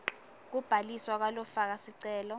kubhaliswa kwalofaka sicelo